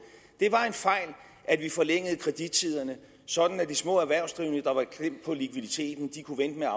det var en fejl at vi forlængede kredittiderne sådan at de små erhvervsdrivende der var klemt på likviditeten kunne vente med at